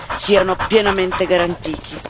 siano pienamente garantiti.